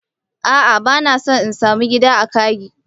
A'a bana son in sa mu gidan kagi.